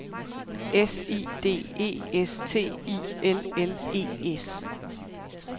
S I D E S T I L L E S